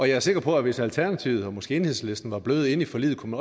jeg er sikker på at hvis alternativet og måske enhedslisten var blevet inde i forliget kunne